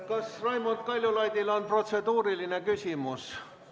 Kas Raimond Kaljulaidil on protseduuriline küsimus?